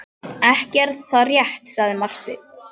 Ekki er það rétt, sagði Marteinn.